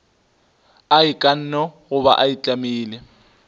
a ikanne goba a itlamile